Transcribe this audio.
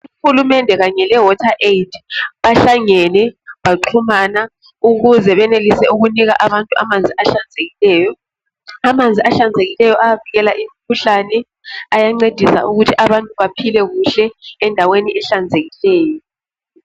Uhulumende kanye leWaterAid bahlangene baxhumana ukuze benelise ukunika abantu amanzi ahlanzekileyo. Amanzi ahlanzekileyo ayavikela imikhuhlane, ayancedisa ukuthi abantu baphile kuhle endaweni ehlanzekileyo.